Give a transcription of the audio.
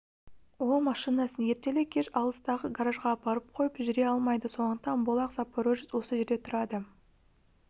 ол машинасын ертелі-кеш алыстағы гаражға апарып қойып жүре алмайды сондықтан бұл ақ запорожец осы жерде тұрады